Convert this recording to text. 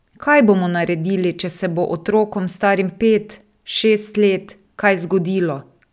Kaj bomo naredili, če se bo otrokom, starim pet, šest let kaj zgodilo?